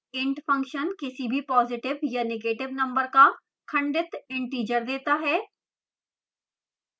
int किसी भी positive या negative number का खंडित integer देता है